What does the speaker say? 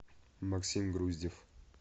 максим груздев